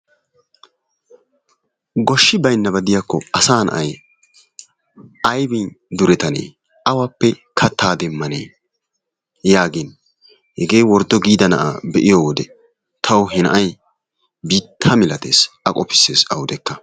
Goshshi baynnaba gidiyakko asay na'ay aybbin duretanne awappe katta demmane yaagin hegee worddo giida na'aa be'iyo wode tawu he na'ay biitta malatees. A qofissees awudekka.